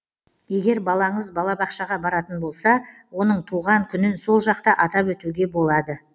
егер балаңыз бала бақшаға баратын болса оның туған күнін сол жақта атап өтуге болады